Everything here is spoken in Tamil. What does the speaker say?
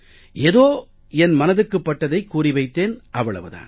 ஏதோ என் மனதுக்குப் பட்டதைக் கூறி வைத்தேன் அவ்வளவு தான்